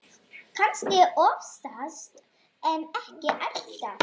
Kannski oftast en ekki alltaf.